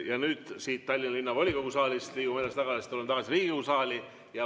Ja nüüd siit Tallinna Linnavolikogu saalist liigume edasi, tuleme tagasi Riigikogu saali.